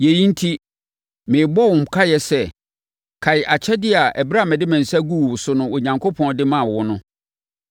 Yei enti merebɔ wo nkaeɛ sɛ kae akyɛdeɛ a ɛberɛ a mede me nsa guu wo so no Onyankopɔn de maa wo no.